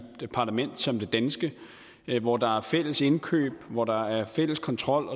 et parlament som det danske hvor der er fælles indkøb hvor der er fælles kontrol